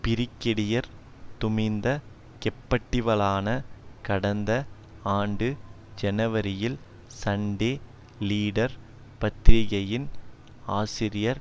brigadier Duminda Keppetiwalana கடந்த ஆண்டு ஜனவரியில் சண்டே லீடர் பத்திரிகையின் ஆசிரியர்